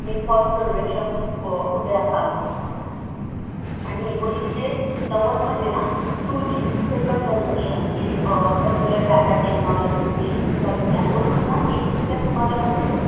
हे first generation अं उदयास आलं होतं. आणि एकोणीसशे नव्वदमध्ये ना two G second generation ची अं cellular data technology ची झाली होती आणि दोन हजार एकच्या सुमारामध्ये